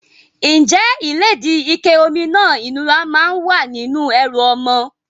Ǹjẹ́ ìlédìí, ike omi náà ìnura máa ń wà nínú ẹrù ọmọ?